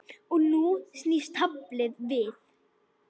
Og nú snýst taflið við.